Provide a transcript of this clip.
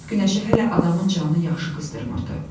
Mart günəşi hələ adamın canını yaxşı qızdırmırdı.